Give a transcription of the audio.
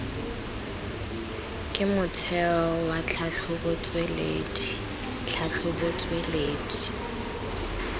ke motheo wa tlhatlhobotsweledi tlhatlhobotsweledi